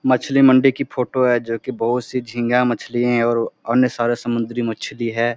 मछली मंडी की फोटो है जो की बहुत से झींगा मछली है और अन्य सारे समुद्री मछली है।